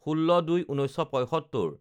১৬/০২/১৯৭৫